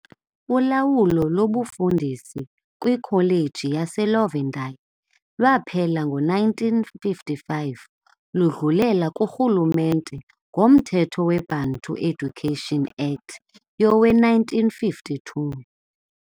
Ulawulo lobufundisi kwikholeji yaseLovedale lwaphela ngo-1955, ludlulela kurhulumente ngomthetho weBantu Education Act yowe1952.